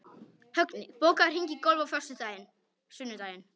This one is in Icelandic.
Högni, bókaðu hring í golf á sunnudaginn.